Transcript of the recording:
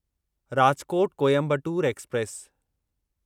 Rajkot Coimbatore express